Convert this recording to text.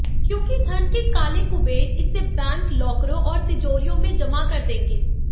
क्योंकि धन के काले कुबेर इसे बैंक लॉकरों और तिजोरियों में जमा कर देंगे